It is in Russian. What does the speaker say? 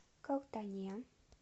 калтане